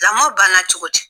Lamɔ banna cogo di!